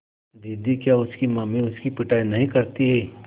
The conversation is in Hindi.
दीदी क्या उसकी अम्मी उसकी पिटाई नहीं करतीं